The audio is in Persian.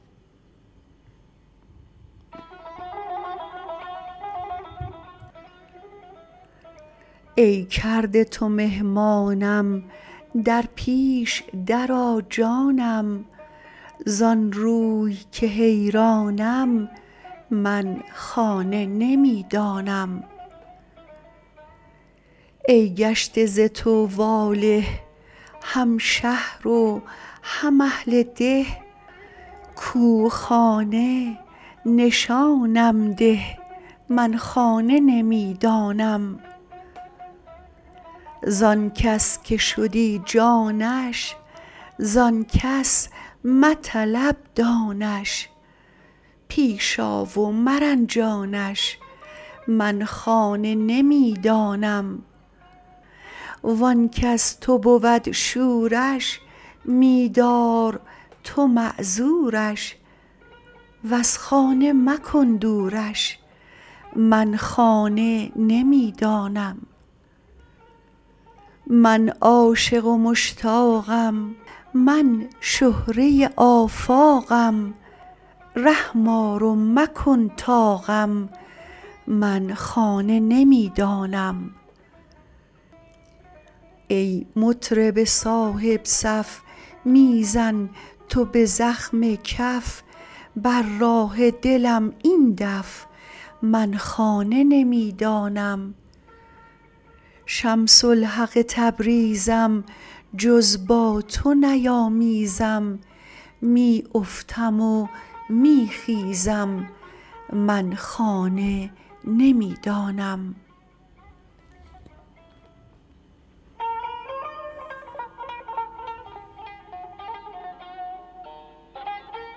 ای کرده تو مهمانم در پیش درآ جانم زان روی که حیرانم من خانه نمی دانم ای گشته ز تو واله هم شهر و هم اهل ده کو خانه نشانم ده من خانه نمی دانم زان کس که شدی جانش زان کس مطلب دانش پیش آ و مرنجانش من خانه نمی دانم وان کز تو بود شورش می دار تو معذورش وز خانه مکن دورش من خانه نمی دانم من عاشق و مشتاقم من شهره آفاقم رحم آر و مکن طاقم من خانه نمی دانم ای مطرب صاحب صف می زن تو به زخم کف بر راه دلم این دف من خانه نمی دانم شمس الحق تبریزم جز با تو نیامیزم می افتم و می خیزم من خانه نمی دانم